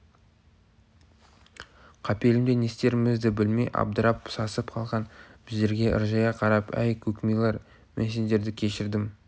қапелімде не істерімізді білмей абдырап сасып қалған біздерге ыржия қарап әй көк милар мен сендерді кешірдім